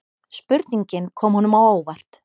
Spurningin kom honum á óvart.